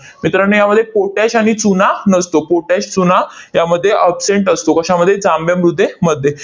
मित्रांनो, यामध्ये पोटॅश आणि चुना नसतो, पोटॅश, चुना यामध्ये absent असतो. कशामध्ये? जांभ्या मृदेमध्ये.